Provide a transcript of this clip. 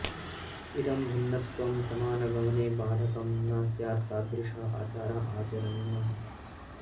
इदम् भिन्नत्वम् समानगमने बाधकम् न स्यात्तादृशः आचारः आचरणीयः